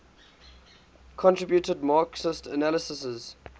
contributed marxist analyses